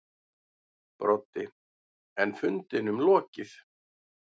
Broddi: En fundinum lokið.